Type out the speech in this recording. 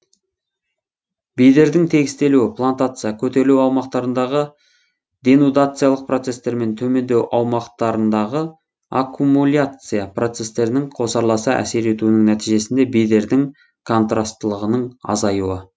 бедердің тегістелуі плантация көтерілу аумақтарындағы денудациялық процестер мен төмендеу аумақтарындағы аккумуляция процестерінің қосарласа әсер етуінің нәтижесінде бедердің контрастылығының азаюы